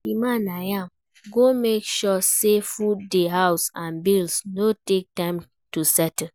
Di man na im go make sure sey food dey house and bills no take time to settle